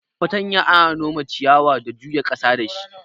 Fartanya ana nome ciyawa da juya ƙasa dashi.